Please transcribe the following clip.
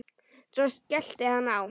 Svo skellti hann á.